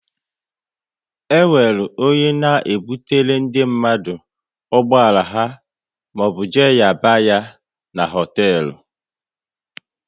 E nwere onye na ebutere ndị mmadụ ụgbọala ha maọbụ jee nyaba ya n'hotelu